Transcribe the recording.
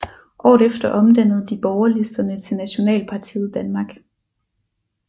Året efter omdannede de borgerlisterne til Nationalpartiet Danmark